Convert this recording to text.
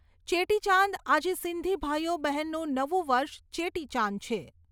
ચેટીચાંદ આજે સિંધી ભાઈઓ બહેનુ નવું વર્ષ ચેટીચાંદ છે